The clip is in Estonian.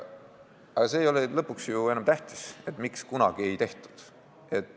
Aga see ei ole lõpuks enam ju tähtis, miks kunagi ei tehtud.